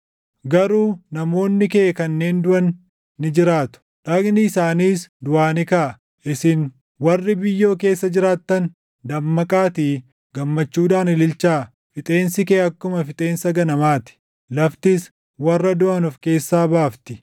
Garuu namoonni kee kanneen duʼan ni jiraatu; dhagni isaaniis duʼaa ni kaʼa. Isin warri biyyoo keessa jiraattan, dammaqaatii gammachuudhaan ililchaa. Fixeensi kee akkuma fixeensa ganamaa ti; laftis warra duʼan of keessaa baafti.